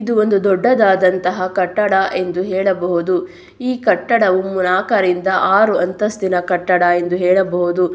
ಇದು ಒಂದು ದೊಡ್ಡದಾದಂತಹ ಕಟ್ಟಡ ಎಂದು ಹೇಳಬಹುದು ಈ ಕಟ್ಟಡವು ನಾಕರಿಂದ ಆರು ಅಂತಸ್ತಿನ ಕಟ್ಟಡ ಎಂದು ಹೇಳಬಹುದು.